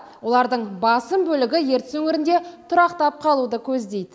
олардың басым бөлігі ертіс өңірінде тұрақтап қалуды көздейді